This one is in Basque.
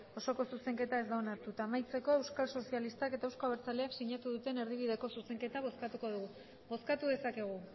osoko zuzenketa ez da onartu eta amaitzeko euskal sozialistak eta euzko abertzaleak sinatu duten erdibideko zuzenketa bozkatuko dugu bozkatu dezakegu